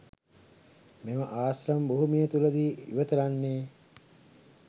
මේ ආශ්‍රම භූමියතුලදී ඉවත ලන්නේ